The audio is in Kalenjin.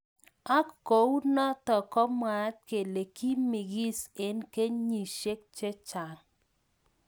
Ak kou notok ko mwaat kele kimingis eng kenyeshek chechang.